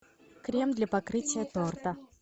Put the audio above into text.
крем для покрытия торта